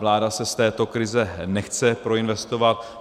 Vláda se z této krize nechce proinvestovat.